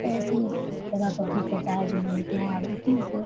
ऐसी ही सब तरह का बुक होता है जो मिलते हैं उसमे से --